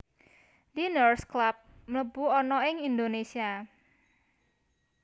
Diners Club mlebu ana ing Indonesia